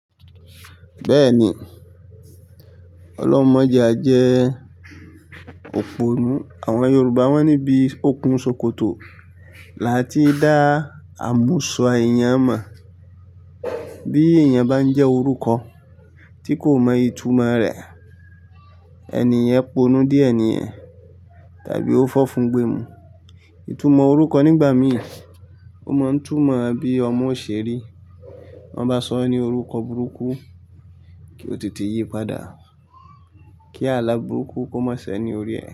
Bẹ́ẹ̀ni, Ọlọ́hun mọ̀ọ́ je a jẹ́ òpònú. Àwọn Yorùbá wọ́n ní ibí òkun ṣòkòtò là tí dà àmúsọ̀ èèyàn mọ̀. Bí èèyàn bá n jẹ́ orúkọ tí kò mọ ìtumọ̀ rẹ̀, ènìyàn p'ọ̀nú dié nìyẹn tàbí ó fọ́ fún gbèmú. Ìtúmọ̀ orúkọ nígbà mí ò mọ̀ n tù mọ̀ bí ọmọ ó ṣe rí. Tó bá sọ e ní orúkọ burúkú kí ó tètè yípadà, kí àlá burúkú kó má ṣe ní orí ẹ.